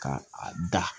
Ka a da